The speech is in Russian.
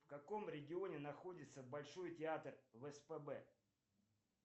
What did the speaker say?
в каком регионе находится большой театр в спб